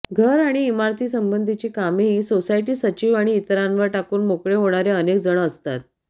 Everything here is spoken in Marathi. घर आणि इमारतीसंबंधीची कामेही सोसायटी सचिव आणि इतरांवर टाकून मोकळे होणारे अनेक जण असतात